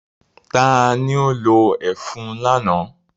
Ta ni ó lo ẹfun lánàá?